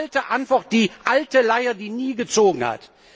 Die alte Antwort, die alte Leier, die nie gezogen hat!